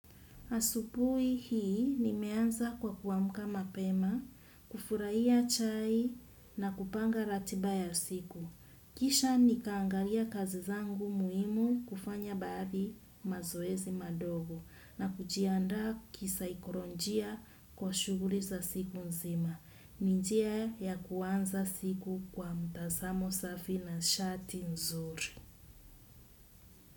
Asupui hii nimeanza kwa kuamka mapema, kufuraia chai na kupanga ratiba ya siku. Kisha nika angalia kazi zangu muimu kufanya baadhi mazoezi madogo na kujiandaa kisaikuronjia kwa shuguli za siku nzima. Ni njia ya kuanza siku kwa mtazamo safi na shati nzuri.